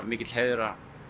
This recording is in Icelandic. mikill heiður